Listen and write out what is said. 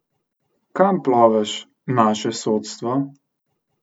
Kam ploveš, naše sodstvo?